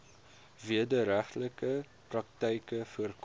wederregtelike praktyke voorkom